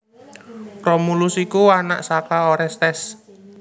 Romulus iku anak saka Orestes